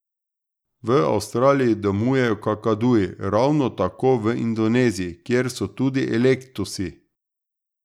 V Avstraliji domujejo kakaduji, ravno tako v Indoneziji, kjer so tudi eklektusi.